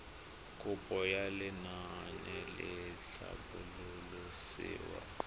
kopo ya lenaane la tlhabololosewa